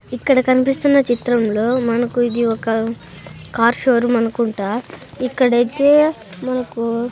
ఇక్కడ కనిపిస్తున్న చిత్రంలో మనకు ఇది ఒక కార్ షోరూమ్ అనుకుంటా ఇక్కడైతే మనకు.